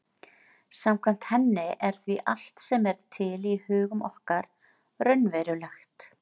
Samkvæmt henni er því allt sem er til í hugum okkar raunverulegt.